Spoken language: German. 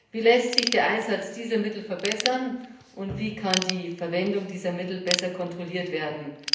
Wie lässt sich der Einsatz dieser Mittel verbessern und wie kann die Verwendung dieser Mittel besser kontrolliert werden?